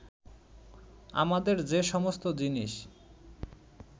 আমাদের যে সমস্ত জিনিস